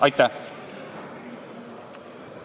Aitäh!